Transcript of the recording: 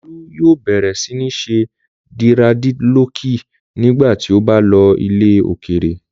Olú yóò bẹ̀rẹ̀ sí ní ṣe dírẹ́dilọọkì nígbà tí ó bá lọ ilẹ̀ òkèèrè.